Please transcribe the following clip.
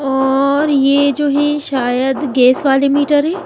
और ये जो है शायद गैस वाले मीटर है।